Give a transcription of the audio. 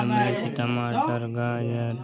टमाटर गाजर --